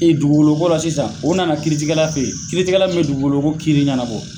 E dugukolo ko la sisan, u nana kiiritigɛla fɛ yen, kiritigɛla min bɛ dugukolo ko kiiri ɲɛnabɔ